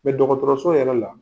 Mais dɔgɔtɔrɔso yɛrɛ la